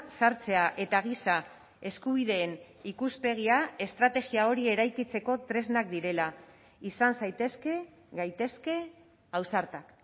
sartzea eta giza eskubideen ikuspegia estrategia hori eraikitzeko tresnak direla izan zaitezke gaitezke ausartak